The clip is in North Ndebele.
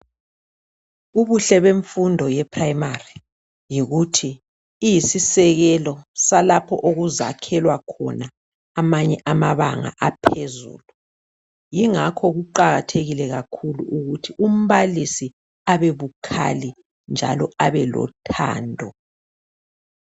Ubuhle bemfundo ye Primary yikuthi iyisisekelo salapho okuzayakhelwa khona amanye amabanga aphezulu. Yingakho kuqakathekile kakhulu ukuthi umbalisi abebukhali njalo abelothando.